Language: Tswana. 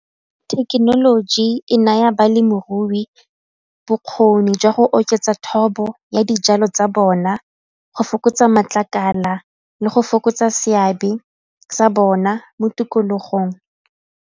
Thekenoloji e naya balemirui bokgoni jwa go oketsa thobo ya dijalo tsa bona go fokotsa matlakala le go fokotsa seabe sa bona mo tikologong.